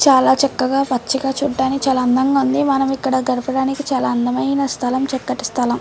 చాల చక్కగా పచ్చగా చూడానికి చాల అందంగా ఉంది మనము ఇక్కడ గడపడానికి చాలా అందమైన స్తలం చక్కటి స్తలం.